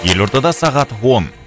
елордада сағат он